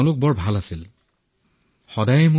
তেওঁলোকে মোৰ সৈতে খুব ভাল ব্যৱহাৰ কৰিছিল